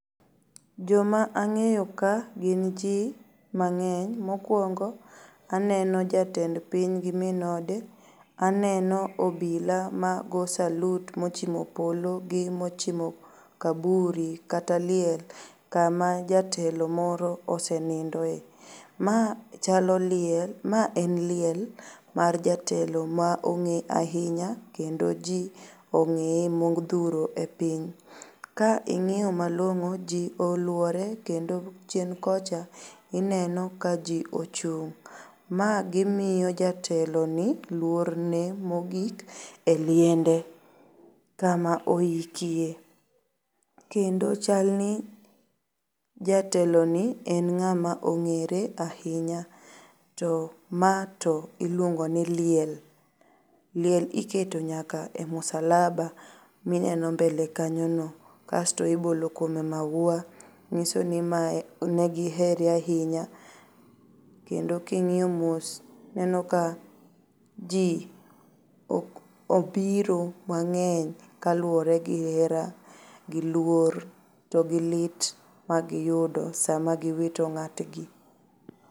Joma ang'eyo ka gin jii mang'eny. Mokuongo aneno jatend piny gi min ode, aneno obila mago salut mochimo polo gi mochimo kaburi kata liel kama jatelo moro osenindoe. Maa chalo liel. Ma en liel mar jatelo ma ong'e ainya kendo jii ong'ee modhuro e piny. Kaing'iyo malong'o jii oluore kendo chien kocha ineno ka jii ochung'.Ma gimio jateloni luorne mogik e liende kama oikie kendo chalni jateloni en ng'ama ong'ere ainya to maa to iluongoni liel. Liel iketo nyaka e msalaba mineno mbele kanyono. Kasto ibolo kuome maua, nyisoni mae negihere ainya kendo king'io mos tineno ka jii obiro mang'eny kaluore gi hera, gi luor to gi lit magiyudo sama giwito ng'atgi.